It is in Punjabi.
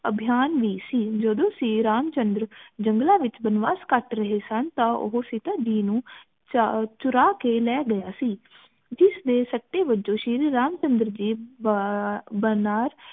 ਅਭਿਆਨ ਵੀ ਸੀ ਜਦੋ ਸ਼੍ਰੀ ਰਾਮ ਚੰਦਰ ਜੰਗਲ ਵਿਚ ਵਣਵਾਸ ਕਟ ਰਹੇ ਸਨ ਤਾ ਉਹ ਸੀਤਾ ਜੀ ਨੂੰ ਚੁਰਾ ਕੇ ਲੈ ਗਯਾ ਸੀ ਜਿਸ ਦੇ ਸਤਵੱਜੂ ਸ਼੍ਰੀ ਰਾਮ ਚੰਦਰ